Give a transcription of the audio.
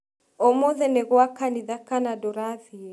Ũmũthĩ nĩ gwa kanĩtha kana ndũrathiĩ